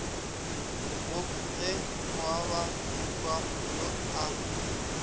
gob ge moababohwa yo a